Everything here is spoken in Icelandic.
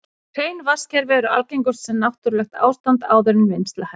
Hrein vatnskerfi eru algengust sem náttúrlegt ástand áður en vinnsla hefst.